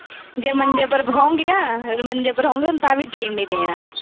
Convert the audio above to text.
ਜੇ ਮੰਜੇ ਪਰ ਹੋਊਗੀ ਨੀ ਨਾ, ਅਹ ਜੇ ਮੰਜੇ ਪਰ ਹੋਊਗੀ ਨੀ ਨਾ, ਤਾਂ ਹੀ ਉਹਨੇ ਜੀਉਣ ਨੀ ਦੇਣਾ।